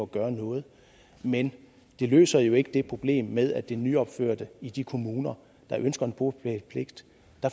gøre noget men det løser jo ikke det problem med det nyopførte i de kommuner der ønsker en bopælspligt